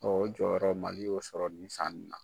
o jɔyɔrɔ Mali y'o sɔrɔ nin sanni na .